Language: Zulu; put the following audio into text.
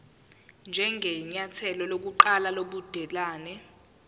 njengenyathelo lokuqala lobudelwane